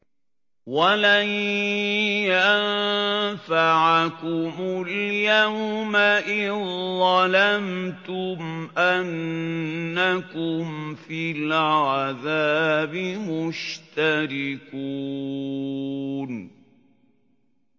وَلَن يَنفَعَكُمُ الْيَوْمَ إِذ ظَّلَمْتُمْ أَنَّكُمْ فِي الْعَذَابِ مُشْتَرِكُونَ